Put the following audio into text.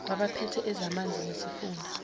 kwabaphethe ezamanzi nesifunda